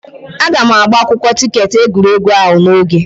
Aga m agba akwụkwọ tiketi egwuregwu ahụ n'oge.